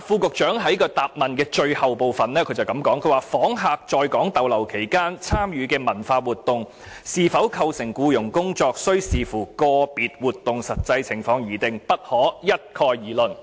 局長在主體答覆的最後部分說"訪客在港逗留期間參與文化活動是否構成僱傭工作，須視乎個別活動的實際情況而定，不可一概而論。